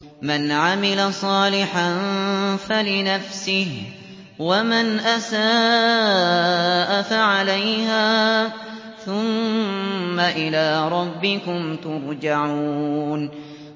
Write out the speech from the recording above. مَنْ عَمِلَ صَالِحًا فَلِنَفْسِهِ ۖ وَمَنْ أَسَاءَ فَعَلَيْهَا ۖ ثُمَّ إِلَىٰ رَبِّكُمْ تُرْجَعُونَ